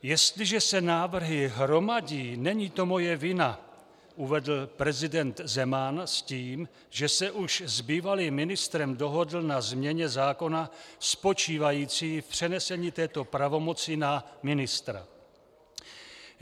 "Jestliže se návrhy hromadí, není to moje vina," uvedl prezident Zeman s tím, že se už s bývalým ministrem dohodl na změně zákona spočívající v přenesení této pravomoci na ministra.